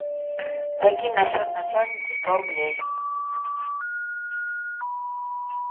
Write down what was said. закинь на счет начальницы сто рублей